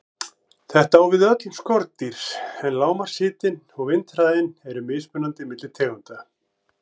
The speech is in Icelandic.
Þetta á við um öll skordýr, en lágmarkshitinn og vindhraðinn eru mismunandi milli tegunda.